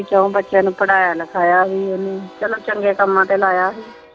ਵੀ ਚੋਆਂ ਬੱਚਿਆਂ ਨੂੰ ਪੜਾਇਆ ਲਿਖਾਇਆ ਵੀ ਓਹਨੇ। ਚੱਲੋ ਚੰਗੇ ਕੰਮਾਂ ਤੇ ਲਾਇਆ ਸੀ।